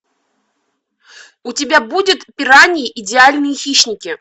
у тебя будет пираньи идеальные хищники